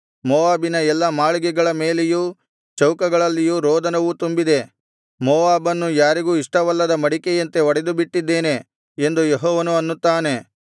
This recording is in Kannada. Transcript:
ಮೋವಾಬಿನ ಎಲ್ಲಾ ಮಾಳಿಗೆಗಳ ಮೇಲೆಯೂ ಚೌಕಗಳಲ್ಲಿಯೂ ರೋದನವು ತುಂಬಿದೆ ಮೋವಾಬನ್ನು ಯಾರಿಗೂ ಇಷ್ಟವಲ್ಲದ ಮಡಿಕೆಯಂತೆ ಒಡೆದುಬಿಟ್ಟಿದ್ದೇನೆ ಎಂದು ಯೆಹೋವನು ಅನ್ನುತ್ತಾನೆ